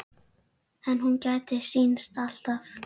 En hún gætir sín alltaf.